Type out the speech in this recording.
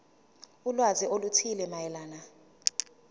ulwazi oluthile mayelana